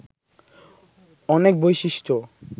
অনেক বৈশিষ্ট্য